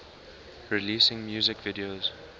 releasing music videos